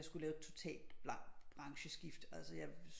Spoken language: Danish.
Jeg skulle lave et totalt blankt brancheskifte altså jeg